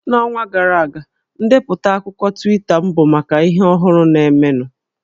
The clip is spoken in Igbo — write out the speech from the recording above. N'ọnwa gara aga, ndepụta akụkọ Twita m bụ maka ihe ọhụrụ na-emenụ